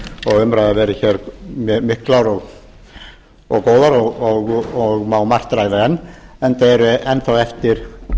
og umræður verið hér miklar og góðar og má margt ræða enn enda eru enn þá eftir